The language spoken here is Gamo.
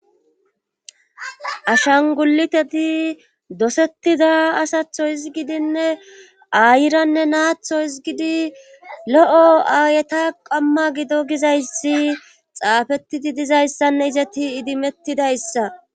Ashanguliteti dosettida asatho izgidinne aayiranne naatho izgidi lo7o aayeta qamma gido gizayssi xaafettidi dizayssanne izeti idimettidayssa.